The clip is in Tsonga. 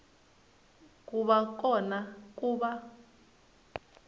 ku va kona ku va